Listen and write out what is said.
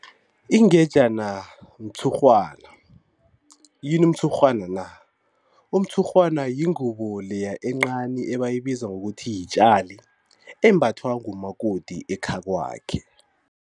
Ingetjana mtshurhwana, yini umtshurhwana na? Umtshurhwana yingubo leya encani ebayibiza ngokuthi yitjali embathwa ngumakoti ekhakwakhe.